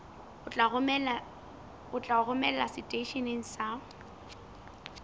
o tla romelwa seteisheneng sa